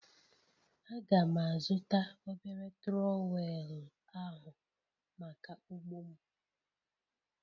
Aga'm azụta obere trowel ahụ maka ugbo m.